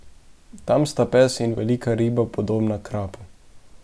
Tam sta pes in velika riba, podobna krapu.